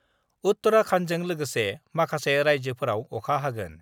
उत्तराखन्डजों लोगोसे माखासे रायजोफोराव अखा हागोन